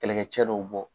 Kɛlɛkɛcɛ dɔw bɔ